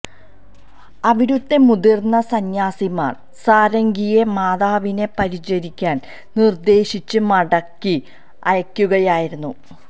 അവിടുത്തെ മുതിർന്ന സന്യാസിമാർ സാരംഗിയെ മാതാവിനെ പരിചരിക്കാൻ നിർദ്ദേശിച്ച് മടക്കി അയക്കുകയായിരുന്നു